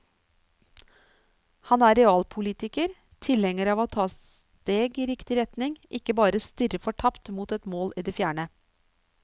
Han er realpolitiker, tilhenger av å ta steg i riktig retning, ikke bare stirre fortapt mot et mål i det fjerne.